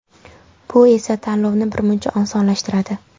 Bu esa tanlovni birmuncha osonlashtiradi.